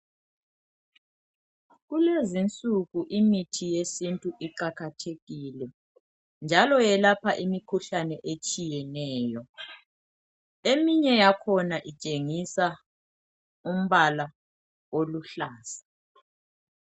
Kulezinsuku imithi yesintu iqakathekile njalo yelapha imikhuhlane etshiyeneyo. Eminye yakhona itshengisa umbala oluhlaza.